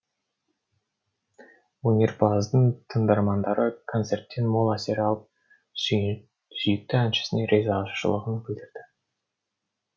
өнерпаздың тыңдармандары концерттен мол әсер алып сүйікті әншісіне ризашылығын білдірді